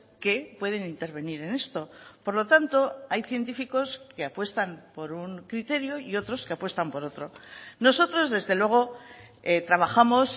que pueden intervenir en esto por lo tanto hay científicos que apuestan por un criterio y otros que apuestan por otro nosotros desde luego trabajamos